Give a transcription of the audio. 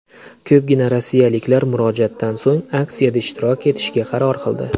Ko‘pgina rossiyaliklar murojaatdan so‘ng aksiyada ishtirok etishga qaror qildi.